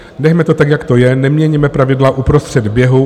Nechme to tak, jak to je, neměňme pravidla uprostřed běhu.